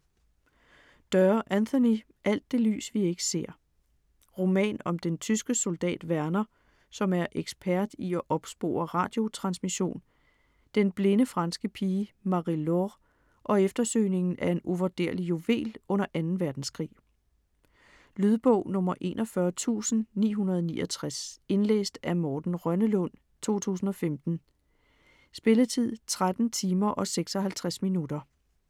Doerr, Anthony: Alt det lys vi ikke ser Roman om den tyske soldat Werner, som er ekspert i at opspore radiotransmission, den blinde franske pige Marie-Laure, og eftersøgningen af en uvurderlig juvel under 2. verdenskrig. Lydbog 41969 Indlæst af Morten Rønnelund, 2015. Spilletid: 13 timer, 56 minutter.